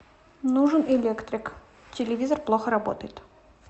нужен электрик телевизор плохо работает